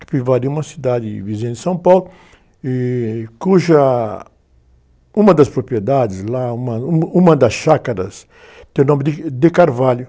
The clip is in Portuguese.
Capivari é uma cidade vizinha de São Paulo, e, cuja, uma das propriedades lá, uma, uma, uma das chácaras, tem o nome de De Carvalho.